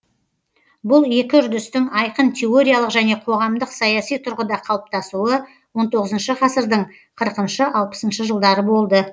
бұл екі үрдістің айқын теориялық және қоғамдық саяси тұрғыда қалыптасуы он тоғызыншы ғасырдың қырқыншы алпысыншы жылдары болды